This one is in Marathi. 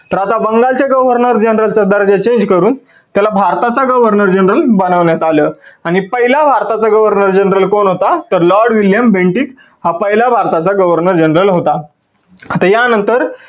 तर आता बंगालच्या governor general च्या दर्ज्याचे हे करून त्याला भारताचं governor general बनवण्यात आलं. आणि पहिला भारताचा governor general कोण होता तर Lord William bentinck हा पहिला भारताचा governor general होता. आता या नंतर